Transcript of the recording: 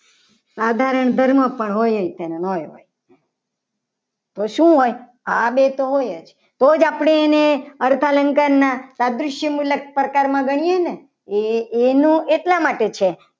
સાધારણ ધર્મ પણ હોય જ તેમાં તો શું હોય આ બે તો હોય જ રોજ આપણે એને અર્થાલંકારના સાદ્રિક્ય મુલસ પ્રકારમાં ગણીએ. ને એ એનો એટલા માટે છે.